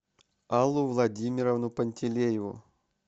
аллу владимировну пантелееву